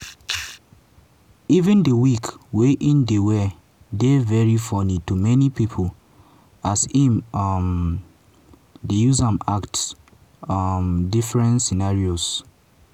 even di wig wey im dey wear dey very funny to many pipo as im um dey use am act um different scenarios.